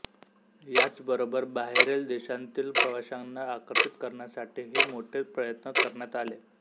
याचबरोबर बाहेरील देशांतील प्रवाशांना आकर्षित करण्यासाठीही मोठे प्रयत्न करण्यात आले